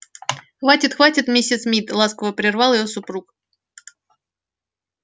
хватит хватит миссис мид ласково прервал её супруг